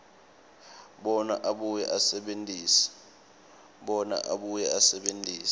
bona abuye asebentise